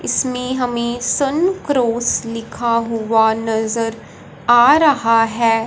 इसमें हमें सनक्रॉस लिखा हुआ नजर आ रहा है।